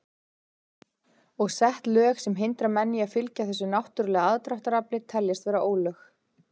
Og sett lög sem hindra menn í að fylgja þessu náttúrulega aðdráttarafli teljast vera ólög.